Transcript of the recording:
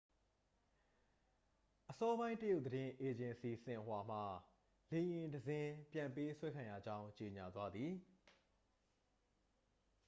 အစောပိုင်း တရုတ်သတင်း အေဂျင်စီ ဆင်ဟွာမှ လေယာဉ်တစ်စီး ပြန်ပေးဆွဲခံရကြောင်း ကြေငြာသွားသည်